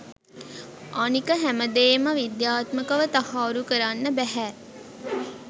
අනික හැමදේම විද්‍යාත්මකව තහවුරු කරන්න බැහැ.